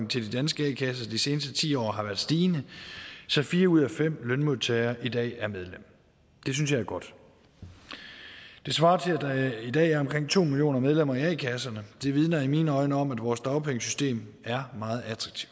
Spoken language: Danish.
til de danske a kasser de seneste ti år har været stigende så fire ud af fem lønmodtagere i dag er medlem det synes jeg er godt det svarer til at der i dag er omkring to millioner medlemmer i a kasserne det vidner i mine øjne om at vores dagpengesystem er meget